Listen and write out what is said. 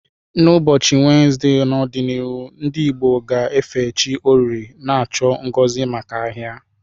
N'ụbọchị Wenezde n'ọdịnihu, ndị Igbo ga-efe chi Orie, na-achọ ngozi maka ahia.